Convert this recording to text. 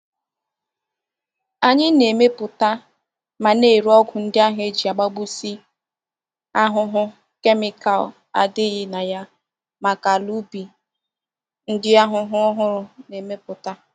Anyi na-emeputa ma na-ere ogwu ndi ahu eji agbagbusi ahuhu kemikal adighi na ya maka ala ubi ndi ahuhu ohuru na-emetuta.